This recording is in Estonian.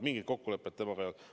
Mingit kokkulepet temaga ei olnud.